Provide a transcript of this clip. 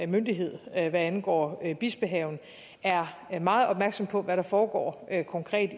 myndighed hvad angår bispehaven er meget opmærksom på hvad der foregår konkret